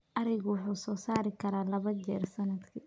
Arigu wuxuu soo saari karaa laba jeer sannadkii.